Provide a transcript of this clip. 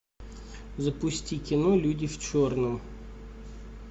запусти кино люди в черном